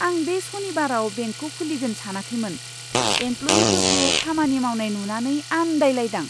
आं बे सनिबाराव बेंकखौ खुलिगोन सानाखैमोन। एमप्ल'इयिफोरखौ खामानि मावनाय नुनानै आन्दायलायदां।